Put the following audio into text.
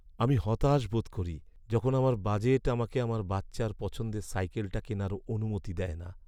আমি হতাশ বোধ করি যখন আমার বাজেট আমাকে আমার বাচ্চার পছন্দের সাইকেলটা কেনার অনুমতি দেয় না।